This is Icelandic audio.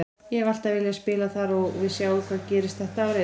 Ég hef alltaf viljað spila þar og við sjáum hvað gerist þetta árið.